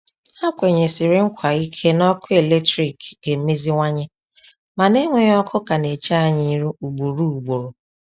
Ha kwenyesiri nkwa ike na ọkụ eletrik ga-emeziwanye, mana enweghi ọkụ ka na-eche anyị irụ ugboro ugboro.